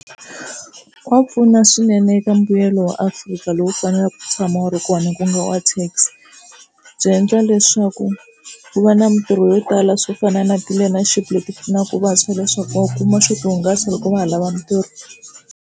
Wa va pfuna swinene eka mbuyelo wa Afrika lowu faneleke wu tshama wu ri kona ku nga wa tax byi endla leswaku ku va na mitirho yo tala swo fana na ti-learnership leti pfunaka vantshwa leswaku va kuma swo tihungasa loko va ha lava mitirho.